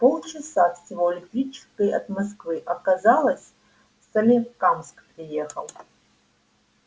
полчаса всего электричкой от москвы а казалось в соликамск приехал